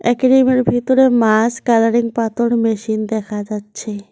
অ্যাকুইরামের ভেতরে মাস কালারিং পাথর মেশিন দেখা যাচ্ছে।